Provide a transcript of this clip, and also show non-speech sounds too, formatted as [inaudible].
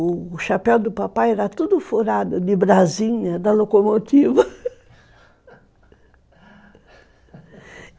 O chapéu do papai era tudo furado de brasinha da locomotiva [laughs]